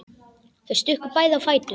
Þau stukku bæði á fætur.